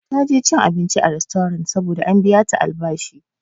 Ta je cin abinci a rastorant saboda an biya ta albashi.